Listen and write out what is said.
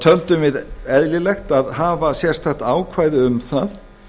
töldum við eðlilegt að hafa sérstakt ákvæði um það